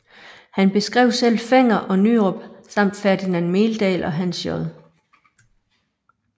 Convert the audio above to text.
Han beskrev selv Fenger og Nyrop samt Ferdinand Meldahl og Hans J